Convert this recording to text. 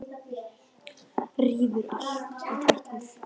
Rífur allt í tætlur.